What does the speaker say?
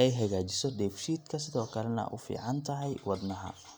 ay hagaajiso dheefshiidka, sidoo kalena ay u fiican tahay wadnaha.